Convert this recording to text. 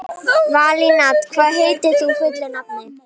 Valíant, hvað heitir þú fullu nafni?